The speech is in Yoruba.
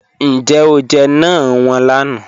Níjẹ̀ o jẹ́ náàń wọn lànà?